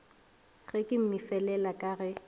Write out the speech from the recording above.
ge ke mmefelela ka ge